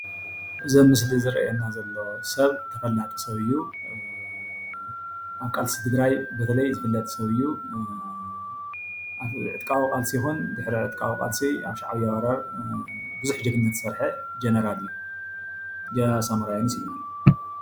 እዚ ምስሊ ዝርአየና ዘሎ ሰብ ተፈላጢ ሰብ እዩ እዪ ።ኣብ ቃልሲ ትግራይ በተለይ ዝፍለጥ ሰብ እዩ ዕጥቃዊ ቃልሲ ይኩን ድሕሪ ዕጥቃዊ ቃልሲ ኣብ ሻዕቢያ ወራር ቡዙሕ ጀግንነት ዝሰርሐ ጀነራል እዩ። ጀነራል ሳሞራይዝ ይብሃል